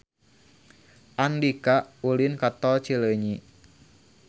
Andika ulin ka Tol Cileunyi